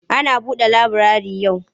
Ana buɗe laburare yau?